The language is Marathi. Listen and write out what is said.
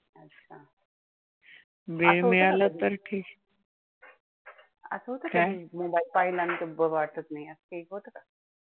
असं होतंय का? काय mobile पाहिला नाही तर बरं वाटतं नाही असं काय होतंय का?